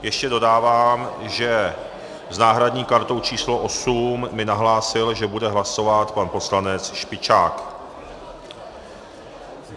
Ještě dodávám, že s náhradní kartou číslo 8 mi nahlásil, že bude hlasovat pan poslanec Špičák.